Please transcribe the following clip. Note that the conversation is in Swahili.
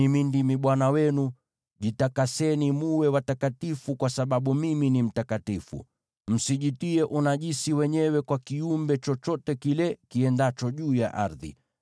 Mimi ndimi Bwana Mungu wenu; jitakaseni mwe watakatifu, kwa sababu mimi ni mtakatifu. Msijitie unajisi wenyewe kwa kiumbe chochote kile kiendacho juu ya ardhi.